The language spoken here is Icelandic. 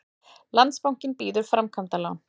Landsbankinn býður framkvæmdalán